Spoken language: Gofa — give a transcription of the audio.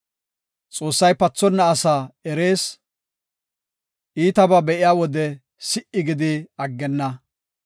Xoossay pathonna asaa erees; iitabaa be7iya wode si77i gidi aggenna.